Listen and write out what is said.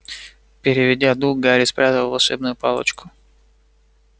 переведя дух гарри спрятал волшебную палочку